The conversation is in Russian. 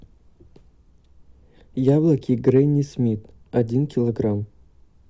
яблоки гренни смит один килограмм